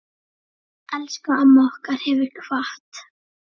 Elsku amma okkar hefur kvatt.